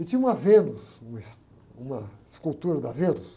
E tinha uma Vênus, uma es, uma escultura da Vênus.